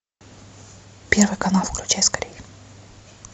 первый канал включай скорей